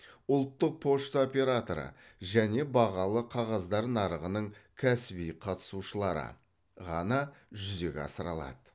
ұлттық пошта операторы және бағалы қағаздар нарығының кәсіби қатысушылары ғана жүзеге асыра алады